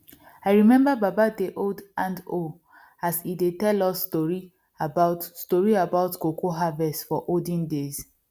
i remember baba dey hold handhoe as e dey tell us story about story about cocoa harvest for olden days